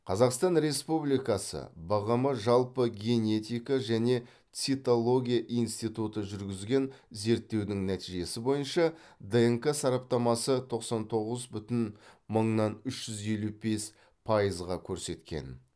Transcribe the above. қазақстан республикасы бғм жалпы генетика және цитология институты жүргізген зерттеудің нәтижесі бойынша днк сараптамасы тоқсан тоғыз бүтін мыңнан үш жүз елу бес пайызға көрсеткен